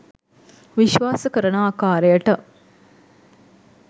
විශ්වාස කරන ආකාරයට